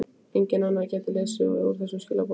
Enginn annar gæti lesið úr þessum skilaboðum.